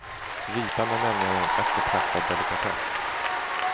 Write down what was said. Ripan är nämligen en eftertraktad delikatess.